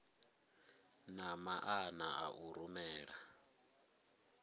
na maana a u rumela